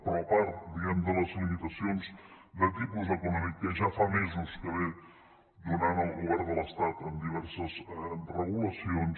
però a part diguem ne de les limitacions de tipus econòmic que ja fa mesos que ve donant el govern de l’estat en diverses regulacions